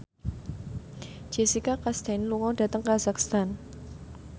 Jessica Chastain lunga dhateng kazakhstan